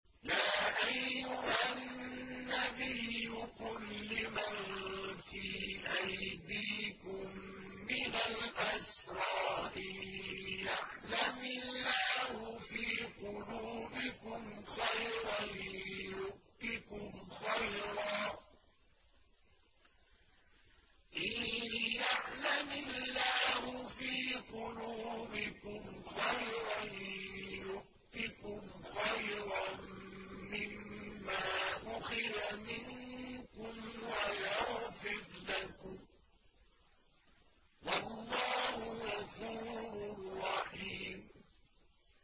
يَا أَيُّهَا النَّبِيُّ قُل لِّمَن فِي أَيْدِيكُم مِّنَ الْأَسْرَىٰ إِن يَعْلَمِ اللَّهُ فِي قُلُوبِكُمْ خَيْرًا يُؤْتِكُمْ خَيْرًا مِّمَّا أُخِذَ مِنكُمْ وَيَغْفِرْ لَكُمْ ۗ وَاللَّهُ غَفُورٌ رَّحِيمٌ